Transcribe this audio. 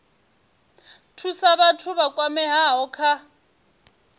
thusa vhathu vha kwameaho kha